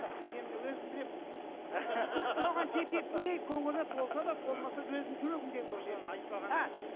енді өзім білемін оған жететіндей көңілі толса да толмаса да өзім жүрегімдегіні бердім